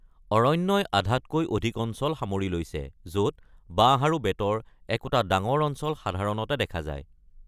অৰণ্যই আধাতকৈ অধিক অঞ্চল সামৰি লৈছে, য’ত বাঁহ আৰু বেতৰ একোটা ডাঙৰ অঞ্চল সাধাৰণতে দেখা যায়।